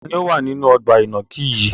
Taàní ó wà nínú ọgbà ìnàkí yìí?